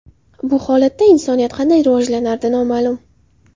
Bu holatda insoniyat qanday rivojlanardi – noma’lum.